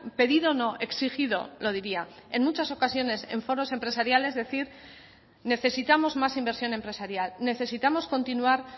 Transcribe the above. pedido no exigido lo diría en muchas ocasiones en foros empresariales decir necesitamos más inversión empresarial necesitamos continuar